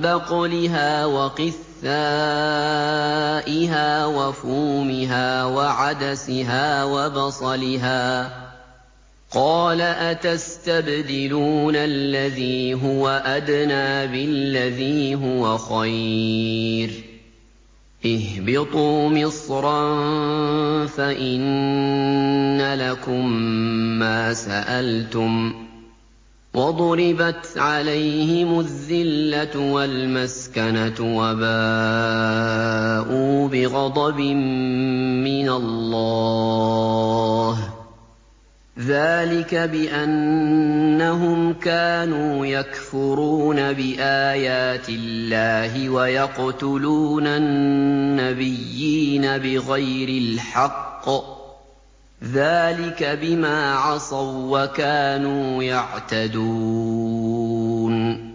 بَقْلِهَا وَقِثَّائِهَا وَفُومِهَا وَعَدَسِهَا وَبَصَلِهَا ۖ قَالَ أَتَسْتَبْدِلُونَ الَّذِي هُوَ أَدْنَىٰ بِالَّذِي هُوَ خَيْرٌ ۚ اهْبِطُوا مِصْرًا فَإِنَّ لَكُم مَّا سَأَلْتُمْ ۗ وَضُرِبَتْ عَلَيْهِمُ الذِّلَّةُ وَالْمَسْكَنَةُ وَبَاءُوا بِغَضَبٍ مِّنَ اللَّهِ ۗ ذَٰلِكَ بِأَنَّهُمْ كَانُوا يَكْفُرُونَ بِآيَاتِ اللَّهِ وَيَقْتُلُونَ النَّبِيِّينَ بِغَيْرِ الْحَقِّ ۗ ذَٰلِكَ بِمَا عَصَوا وَّكَانُوا يَعْتَدُونَ